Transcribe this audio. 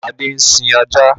Adé ń sin ajá.